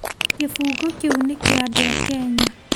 Kĩbungo kĩu nĩ kĩa andũ a Kenya